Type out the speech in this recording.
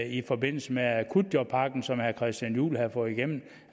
i forbindelse med akutjobpakken som herre christian juhl havde fået igennem